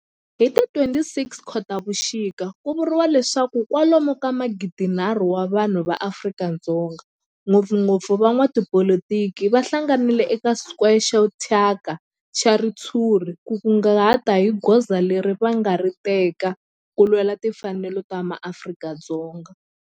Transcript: Hi ti 26 Khotavuxika ku vuriwa leswaku kwalomu ka magidi-nharhu wa vanhu va Afrika-Dzonga, ngopfungopfu van'watipolitiki va hlanganile eka square xo thyaka xa ritshuri ku ta kunguhata hi goza leri va nga ta ri teka ku lwela timfanelo ta maAfrika-Dzonga.